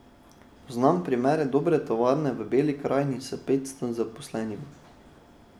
Poznam primer dobre tovarne v Beli krajini s petsto zaposlenimi.